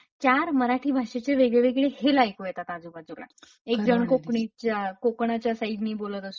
चार मराठी भाषेचे वेगवेगळे हेल ऐकू येतात आजूबाजूला एकजण कोकणीच्या कोकणाच्या साईडने बोलत असतो.